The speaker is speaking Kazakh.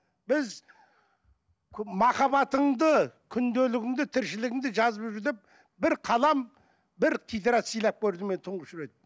біз махаббатыңды күнделігіңді тіршілігіңді жазып жүр деп бір қалам бір тетрадь сыйлап көрдім мен тұңғыш рет